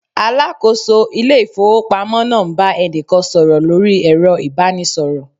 Alakoso ile ifowopamo naa n ba enikan soro lori ero ibanisoro